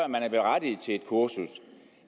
man er berettiget til et kursus